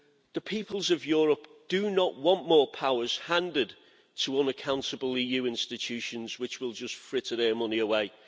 The peoples of Europe do not want more powers handed to unaccountable EU institutions which will just fritter their money away.